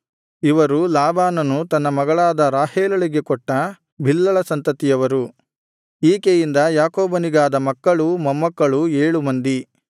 ಇವರು ಲಾಬಾನನು ತನ್ನ ಮಗಳಾದ ರಾಹೇಲಳಿಗೆ ಕೊಟ್ಟ ಬಿಲ್ಹಳ ಸಂತತಿಯವರು ಈಕೆಯಿಂದ ಯಾಕೋಬನಿಗಾದ ಮಕ್ಕಳೂ ಮೊಮ್ಮಕ್ಕಳೂ ಏಳು ಮಂದಿ